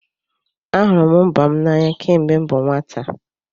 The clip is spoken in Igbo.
Ahụrụ m mba m n'anya kemgbe m bụ nwata.